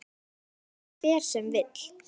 Lái þeim hver sem vill.